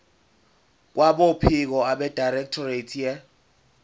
kwabophiko abedirectorate ye